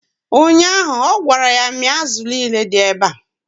ụnyaahụ, ọ gwara ya 'mịa azụ niile dị ebea!